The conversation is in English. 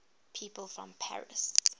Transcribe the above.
people from paris